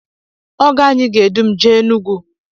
ọgọanyị ga-edu m jee Enugu